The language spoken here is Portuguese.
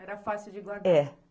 Era fácil de guardar.